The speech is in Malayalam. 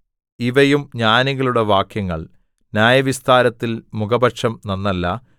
ഇവയും ജ്ഞാനികളുടെ വാക്യങ്ങൾ ന്യായവിസ്താരത്തിൽ മുഖപക്ഷം നന്നല്ല